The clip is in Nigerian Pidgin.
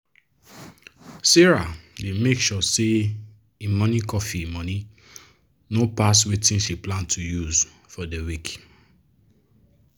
sarah dey make sure say e morning coffee money no pass wetin she plan to use for de week.